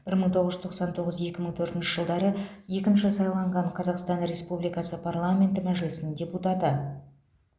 бір мың тоғыз жүз тоқсан тоғыз екі мың төртінші жылдары екінші сайланған қазақстан республикасы парламенті мәжілісінің депутаты